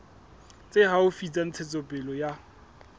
tse haufi tsa ntshetsopele ya